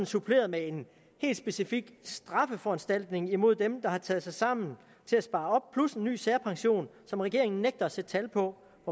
suppleret med en helt specifik strafforanstaltning imod dem der har taget sig sammen til at spare op plus en ny særpension som regeringen nægter at sætte tal på